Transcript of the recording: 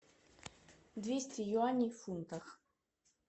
двести юаней в фунтах